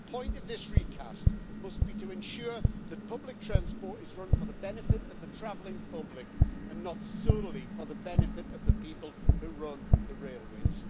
The point of this recast must be to ensure that public transport is run for the benefit of the travelling public and not solely for the benefit of the people who run the railways.